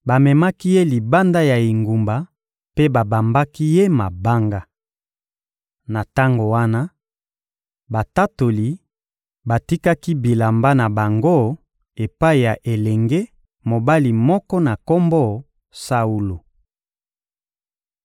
bamemaki ye libanda ya engumba mpe babambaki ye mabanga. Na tango wana, batatoli batikaki bilamba na bango epai ya elenge mobali moko na kombo Saulo.